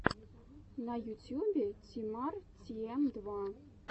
на ютьюбе ти мар тин эн два